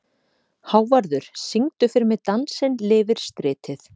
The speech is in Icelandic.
Hávarður, syngdu fyrir mig „Dansinn lifir stritið“.